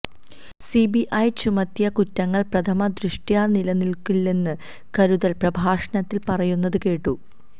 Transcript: C B I ചുമത്തിയ കുറ്റങ്ങള് പ്രഥമ ദൃഷ്ട്യാ നിലനില്ക്കില്ലെന്ന് കരുതല് പ്രഭാഷണത്തില് പറയുന്നത് കേട്ടു